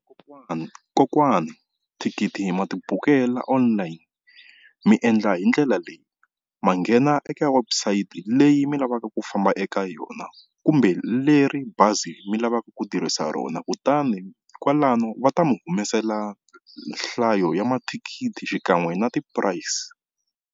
Kokwani kokwani thikithi ma tibukela online mi endla hindlela leyi, ma nghena eka website leyi mi lavaka ku famba eka yona kumbe leri bazi mi lavaka ku tirhisa rona kutani kwalano va ta mi humesela nhlayo ya mathikithi xikan'we na ti-price.